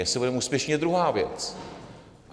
Jestli budeme úspěšní, je druhá věc.